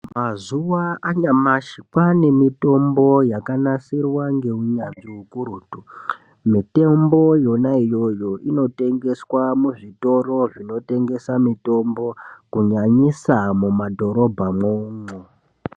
Mazuva anyamashi kwaanemitombo yakanasirwa ngeunyanzvi ukurutu. Mitombo yonaiyoyo inotengeswa muzvitoro zvinotengeswa mitombo kunyanyisa mumadhorobha mwoumwo.